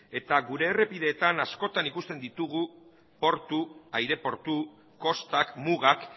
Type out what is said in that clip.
eta gure errepideetan askotan ikusten ditugu portu aireportu kostak mugak